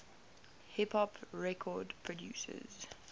hip hop record producers